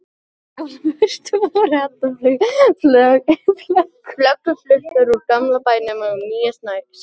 Á jólaföstu voru allar föggur fluttar úr gamla bænum í nýja Sæból.